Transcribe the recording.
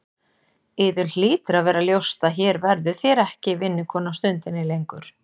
Yður hlýtur að vera ljóst að hér verðið þér ekki vinnukona stundinni lengur.